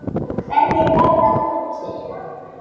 Hverjir verða úti?